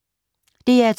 DR2